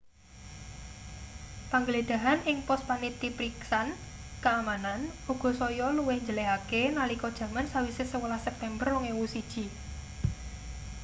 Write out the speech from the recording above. panggledhahan ing pos panitipriksan keamanan uga saya luwih njelehake nalika jaman sawise 11 september 2001